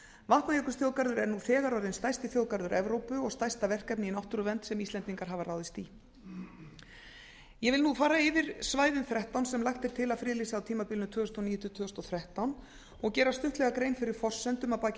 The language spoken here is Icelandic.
vatnajökulsþjóðgarður er nú þegar orðinn stærsti þjóðgarður evrópu og stærsta verkefni í náttúruvernd sem íslendingar hafa ráðist í ég vil nú telja upp svæðin þrettán sem lagt er til að friðlýsa á tímabilinu tvö þúsund og níu til tvö þúsund og þrettán og gera stuttlega grein fyrir forsendum að baki